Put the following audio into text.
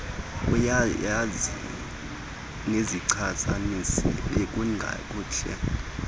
uyazazi nezichasanisi bekungakuhle